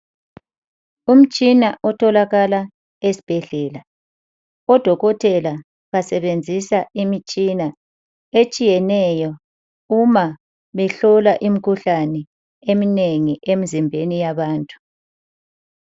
Umtshina otholakala esibhedlela. Odokotela basebenzisa imitshina etshiyeneyo uma behlola imikhuhlane eminengi emzimbeni yabantu.